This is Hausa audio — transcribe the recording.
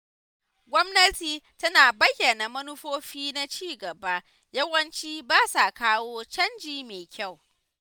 Gwamnati tana bayyana manufofi na cigaba yawanci ba sa kawo canji mai kyau.